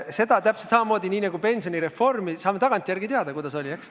Sellega on täpselt samamoodi nagu pensionireformiga – saame tagantjärele teada, kuidas oli.